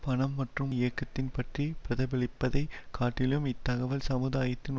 பணம் மற்றும் இயக்கத்தின் பற்றி பிரதிபலிப்பதைக் காட்டிலும் இத்தகவல் சமுதாயத்தின்